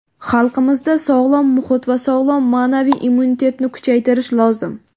Xalqimizda sog‘lom muhit va sog‘lom ma’naviy immunitetni kuchaytirish lozim.